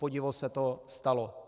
Kupodivu se to stalo.